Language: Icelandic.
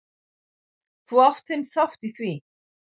Þú átt þinn þátt í því.